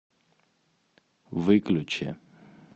выключи